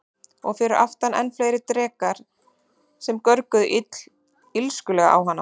Og fyrir aftan enn fleiri drekar sem görguðu illskulega á hana.